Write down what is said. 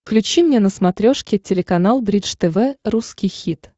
включи мне на смотрешке телеканал бридж тв русский хит